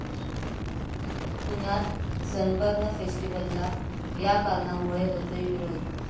पुण्यात 'सनबर्न फेस्टिव्हल'ला या कारणांमुळे होतोय विरोध